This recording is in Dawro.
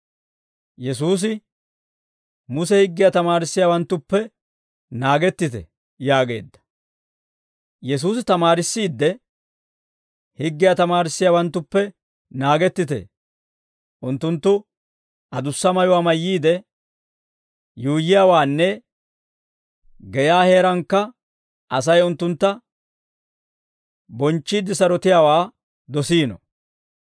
Yesuusi tamaarissiidde, «Higgiyaa tamaarissiyaawanttuppe naagettite; unttunttu adussa mayuwaa mayyiide yuuyyiyaawaanne geyaa heerankka Asay unttuntta bonchchiidde sarotiyaawaa dosiino.